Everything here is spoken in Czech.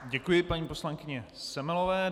Děkuji paní poslankyni Semelové.